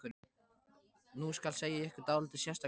Nú skal segja ykkur dálítið sérstaka sögu.